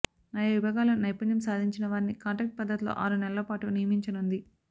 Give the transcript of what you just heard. ఆయా విభాగాల్లో నైపుణ్యం సాధించినవారిని కాంట్రాక్ట్ పద్ధతిలో ఆరు నెలల పాటు నియమించనుంది